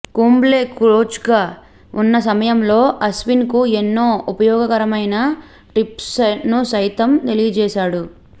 కుంబ్లే కోచ్గా ఉన్న సమయంలో అశ్విన్కు ఎన్నో ఉపయోగకరమైన టిప్స్ను సైతం తెలియజేశాడు